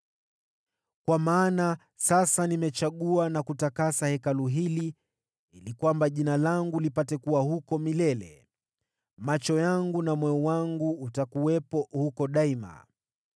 Kwa maana sasa nimechagua na kutakasa Hekalu hili ili kwamba Jina langu lipate kuwa huko milele. Macho yangu na moyo wangu utakuwepo huko daima.